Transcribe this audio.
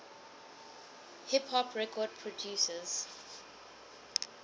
hip hop record producers